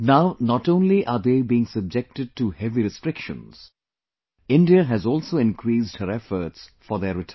Now not only are they being subjected to heavy restrictions; India has also increased her efforts for their return